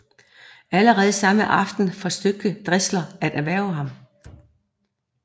Allerede samme aften forsøgte Drexler at hverve ham